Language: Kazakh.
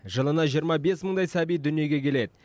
жылына жиырма бес мыңдай сәби дүниеге келеді